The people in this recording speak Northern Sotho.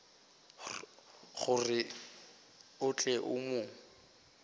gore o tle o mo